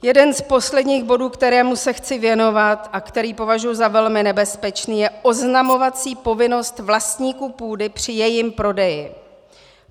Jeden z posledních bodů, kterému se chci věnovat a který považuji za velmi nebezpečný, je oznamovací povinnost vlastníků půdy při jejím prodeji.